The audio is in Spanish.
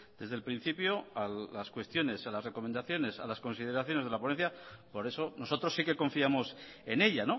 desde el principio a las cuestiones a las recomendaciones a las consideraciones de la ponencia por eso nosotros sí que confiamos en ella